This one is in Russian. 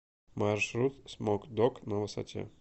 маршрут смок дог на высоте